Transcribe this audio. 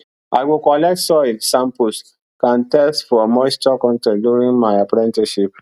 i go collect soil samples kan test for moisture con ten t during my apprenticeship